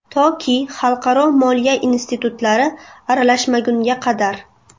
Toki xalqaro moliya institutlari aralashmagunga qadar.